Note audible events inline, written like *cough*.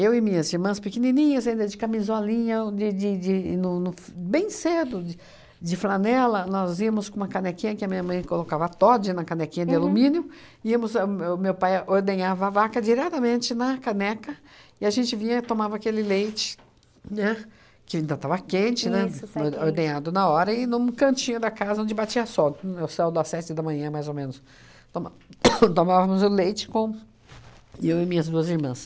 Eu e minhas irmãs pequenininhas, ainda de camisolinha, de de de no no f bem cedo, de de flanela, nós íamos com uma canequinha, que a minha mãe colocava Toddy na canequinha de alumínio, íamos ahn, o meu pai ordenhava a vaca diretamente na caneca, e a gente vinha tomava aquele leite, né, que ainda estava quente, né, or ordenhado na hora, e num cantinho da casa onde batia sol, no céu das sete da manhã, mais ou menos, toma *coughs* tomávamos o leite com eu e minhas duas irmãs.